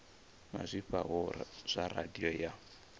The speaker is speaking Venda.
na zwifhao zwa radio ya